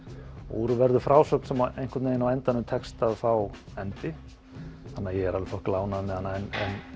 úr verður frásögn sem einhvern veginn á endanum tekst að fá endi þannig að ég er alveg þokkalega ánægður með hana en